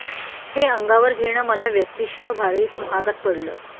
हे अंगावर घेणं मला व्यक्तीशः भारीच महागात पडलं